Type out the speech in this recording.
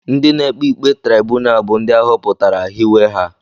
Ndị na-ekpe ikpe traibunal bụ ndị a họpụtara, hiwe ha